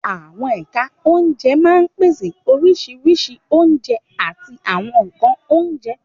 Àwọn ẹ̀ka oúnjẹ máa ń pèsè oríṣiríṣi oúnjẹ àti àwọn nkan oúnjẹ.